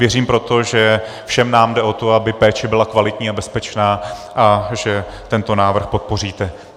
Věřím proto, že všem nám jde o to, aby péče byla kvalitní a bezpečná, a že tento návrh podpoříte.